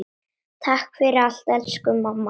Takk fyrir allt elsku mamma.